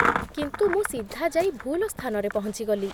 କିନ୍ତୁ ମୁଁ ସିଧା ଯାଇ ଭୁଲ ସ୍ଥାନରେ ପହଞ୍ଚିଗଲି